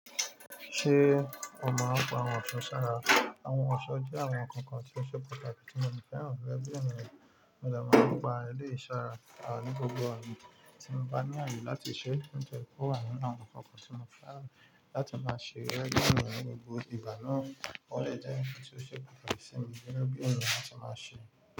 Ṣé o máa ń pa ohun ẹṣọ sára? Àwọn ọ̀ṣọ́ jẹ́ àwọn ǹkan kan tí ó ṣe pàtàkì tí mo si fẹ́ràn gẹgẹ bí ènìyàn mi ò lè máa ń pa rẹ̀ lé ìṣúra ní gbogbo ààyè tí mo bá ní ààyè láti ṣe. Ní ìjẹ́rìí kò wà nínú àwọn ǹkan kan tí mo fẹ́ ràn láti máa ṣe rẹ dídùn nínú gbogbo ìgbà náà. Ó dẹ́ jè tí ó ṣe pàtàkì sí mi gègè bí ènìyàn lla tí máa ṣe.